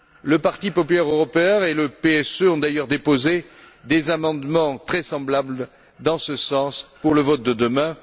Le parti populaire européen et le PSE ont d'ailleurs déposé des amendements très semblables dans ce sens pour le vote de demain.